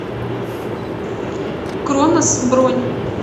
кронос бронь